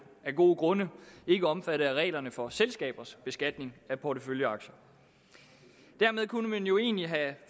af gode grunde ikke omfattet af reglerne for selskabers beskatning af porteføljeaktier dermed kunne man jo egentlig have